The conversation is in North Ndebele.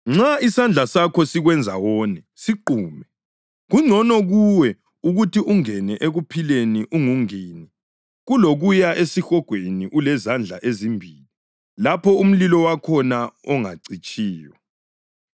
Nxa isandla sakho sikwenza wone, siqume. Kungcono kuwe ukuthi ungene ekuphileni ungungini kulokuya esihogweni ulezandla ezimbili, lapho umlilo wakhona ongacitshiyo, [ 44 lapho ‘impethu yakhona engafiyo lomlilo wakhona ongacitshiyo.’] + 9.44 Livesi ayikho kwamanye amaBhayibhili esiLungu.